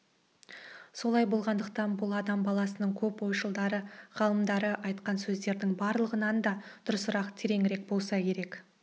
солай болатындықтан бұл адам баласының көп ойшылдары ғалымдары айтқан сөздердің барлығынан да дұрысырақ тереңірек болса керек